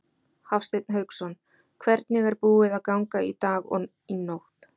Hafsteinn Hauksson: Hvernig er búið að ganga í dag og í nótt?